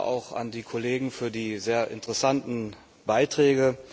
Danke auch an die Kollegen für die sehr interessanten Beiträge.